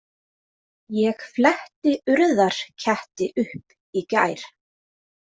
Ég fletti Urðarketti upp í gær.